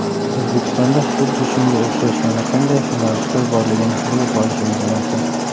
O‘zbekistonda xuddi shunga o‘xshash yana qanday yo‘nalishlar borligini bilib olishingiz mumkin.